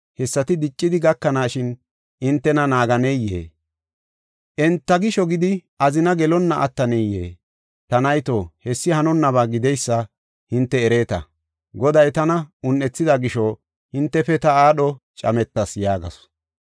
hessati diccidi gakanaa gaso entana naaganeyee? Enta gisho gidi azina gelonna attanayee? Ta nayto, hessi hanonnaba gideysa hinte ereeta. Goday tana un7ethida gisho hintefe ta aadho cametas” yaagasu.